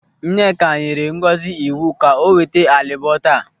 Nneka nyere Ngozi iwu ka o weta álịbọ̀ taa.